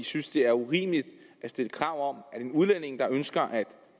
synes det er urimeligt at stille krav om at en udlænding der ønsker at